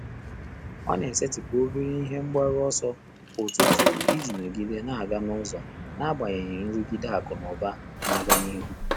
Ọ́ nà-ésétị́pụ̀ óbèré ìhè mg bàrù ọ́sọ́ kwá ụ́tụ́tụ̀ ìjí nọ́gídé n’ágá n’ụ́zọ́ n’ágbànyéghị́ nrụ́gídé ákụ̀ nà ụ́bà nà-ágá n’íhú.